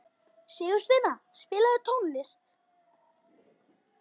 Sigursteina, spilaðu tónlist.